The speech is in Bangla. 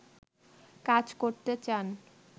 কাজ করতে চান